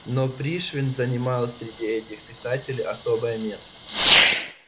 но пришвин занимает среди этих писателей особое место